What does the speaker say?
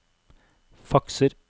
fakser